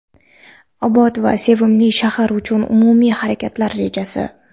obod va sevimli shahar uchun umumiy harakatlar rejasi.